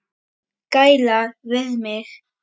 Gæla við mig.